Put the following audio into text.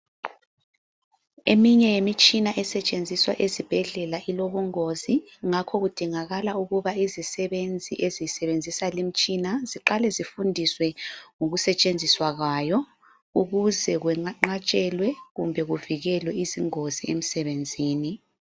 Eminye yemitshina esetshenziswa ezibhedlela ilobungozi ngakho kudingakala ukuba izisebenzi ezisebenzisa le imitshina, ziqale zifundiswe ngokusetshenziswa kwayo ukuze kwenqatshelwe kumbe kuvikelwe izingozi emsebenzini.